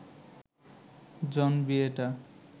জন বিয়েটা